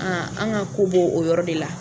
an ka ko bo o yɔrɔ de la.